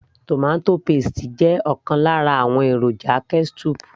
tomato paste jẹ́ ọ̀kan lára àwọn èròjà ketchup